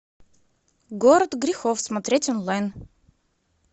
город грехов смотреть онлайн